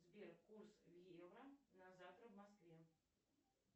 сбер курс евро на завтра в москве